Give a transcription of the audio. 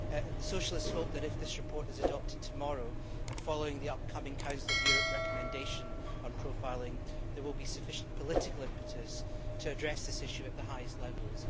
The Socialists hope that if this report is adopted tomorrow and following the upcoming Council of Europe recommendation on profiling, there will be sufficient political impetus to address this issue at the highest levels.